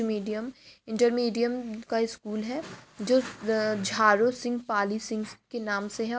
Medium inter medium का यह school है जो झारू सिंह पाली सिंह के नाम से है।